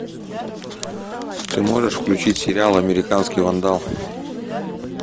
ты можешь включить сериал американский вандал